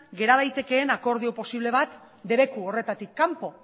gera daitekeen akordio posible bat debeku horretatik kanpo